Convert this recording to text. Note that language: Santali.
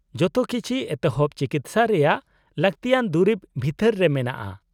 -ᱡᱚᱛᱚ ᱠᱤᱪᱷᱤ ᱮᱛᱚᱦᱚᱵᱼᱪᱤᱠᱤᱥᱥᱟ ᱨᱮᱭᱟᱜ ᱞᱟᱹᱠᱛᱤᱭᱟᱱ ᱫᱩᱨᱤᱵ ᱵᱷᱤᱛᱟᱹᱨ ᱨᱮ ᱢᱮᱱᱟᱜᱼᱟ ᱾